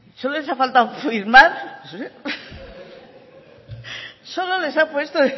solo les ha faltado firmar solo les ha puesto